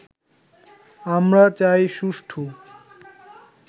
আমরা চাই সুষ্ঠু